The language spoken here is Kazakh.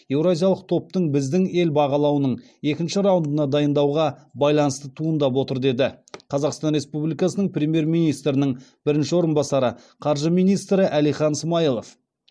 еуразиялық топтың біздің ел бағалауының екінші раундына дайындалуға байланысты туындап отыр деді қазақстан республикасының премьер министрінің бірінші орынбасары қаржы министрі әлихан смайылов